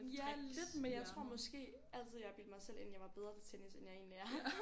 Ja lidt men jeg tror måske altid jeg har bildt mig selv ind jeg var bedre til tennis end jeg egentlig er